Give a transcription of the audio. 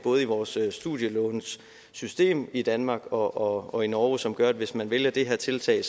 vores studielånssystem i danmark og og i norge som gør at hvis man vælger det her tiltag